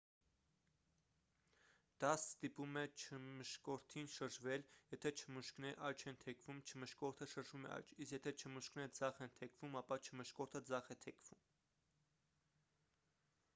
դա ստիպում է չմշկորդին շրջվել եթե չմուշկները աջ են թեքվում չմշկորդը շրջվում է աջ իսկ եթե չմուշկները ձախ են թեքվում ապա չմշկորդը ձախ է թեքվում